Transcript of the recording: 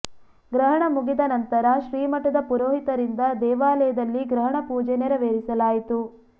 ಗ್ರಹಣ ಮುಗಿದ ನಂತರ ಶ್ರೀ ಮಠದ ಪುರೋಹಿತರಿಂದ ದೇವಾಲಯದಲ್ಲಿ ಗ್ರಹಣ ಪೂಜೆ ನೆರವೇರಿಸಲಾಯಿತು